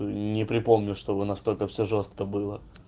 не припомню чтобы настолько все жёстко было